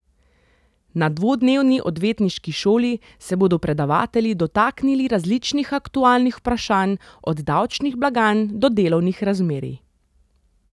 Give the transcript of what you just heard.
Na dvodnevni odvetniški šoli se bodo predavatelji dotaknili različnih aktualnih vprašanj, od davčnih blagajn do delovnih razmerij.